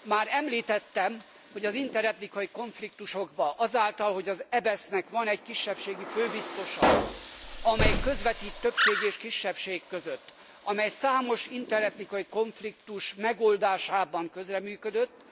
Már említettem, hogy az interetnikai konfliktusokban, azáltal, hogy az EBESZ nek van egy kisebbségi főbiztosa, aki közvetít többség és kisebbség között, és aki számos interetnikai konfliktus megoldásában közreműködött,